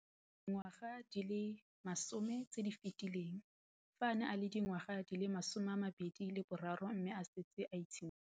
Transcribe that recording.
Dingwaga di le 10 tse di fetileng, fa a ne a le dingwaga di le 23 mme a setse a itshimoletse